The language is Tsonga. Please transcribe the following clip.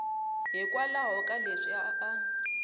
hikwalaho ka leswi a a